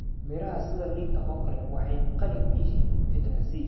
Miraha sida liinta oo kale waxay qani ku yihiin fitamiin C.